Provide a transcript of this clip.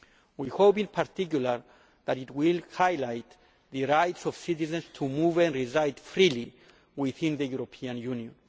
We hope, in particular, that it will highlight the rights of citizens to move and reside freely within the European Union.